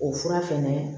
O fura fɛnɛ